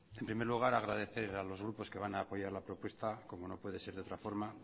en primer lugar agradecer a los grupos que van a apoyar la propuesta como no puede ser de otra forma